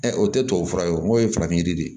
o tɛ tubabu fura ye o n'o ye farafin yiri de ye